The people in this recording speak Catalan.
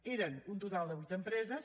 eren un total de vuit empreses